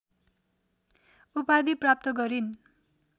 उपाधि प्राप्त गरिन्